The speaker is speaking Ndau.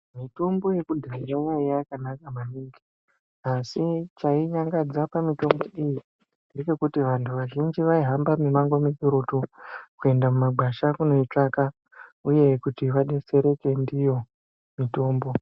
Mitombo yekudhaya yaiya yakanaka maningi asi chai nyangadza pa mitombo iyi ngechekuti vantu vazhinji vai hamba mi mango mikurutu kuenda mu magwasha kunoi tsvaka uye kuti vadetsereke ndiyo mitombo.